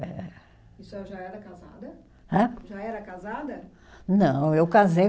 É. E a senhora já era casada? Hã? Já era casada? Não, eu casei